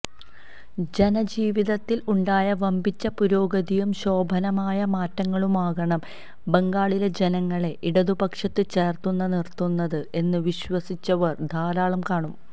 ജനജീവിതത്തില് ഉണ്ടായ വമ്പിച്ച പുരോഗതിയും ശോഭനമായ മാറ്റങ്ങളുമാകണം ബംഗാളിലെ ജനങ്ങളെ ഇടതുപക്ഷത്ത് ചേര്ത്തുനിര്ത്തുന്നത് എന്ന് വിശ്വസിച്ചവര് ധാരാളം കാണും